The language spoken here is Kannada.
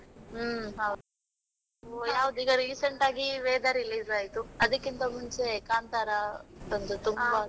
ಹ್ಮ್, ಹೌದು ಈಗ recent ಆಗಿ ವೇದ release ಆಯ್ತು, ಅದಿಕ್ಕಿಂತ ಮುಂಚೆ ಕಾಂತಾರ ಬಂತು ತುಂಬಾ .